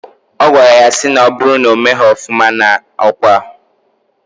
Ogwara ya si na oburu na omero ofuma na okwa..